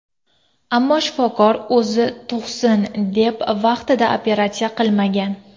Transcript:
Ammo shifokor o‘zi tug‘sin deb vaqtida operatsiya qilmagan.